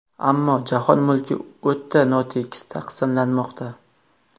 Ammo jahon mulki o‘ta notekis taqsimlanmoqda.